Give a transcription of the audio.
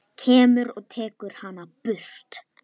Kemur og tekur hana burt.